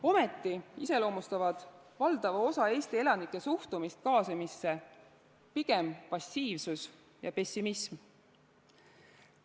Ometi iseloomustavad valdava osa Eesti elanike suhtumist kaasamisse pigem passiivsus ja pessimism.